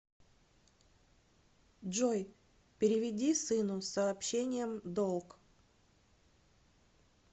джой переведи сыну с сообщением долг